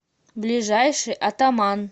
ближайший атаман